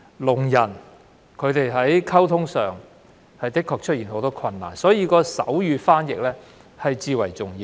聾人在溝通上確實面對很多困難，因此手語傳譯至為重要。